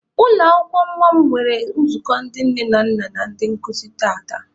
Ụlọ akwụkwọ nwa m nwere nzukọ ndị nne na nna na ndị nkụzi tata.